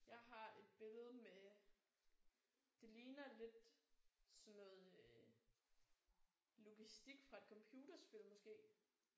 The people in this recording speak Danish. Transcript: Jeg har et billede med det ligner lidt sådan noget logistik fra et computerspil måske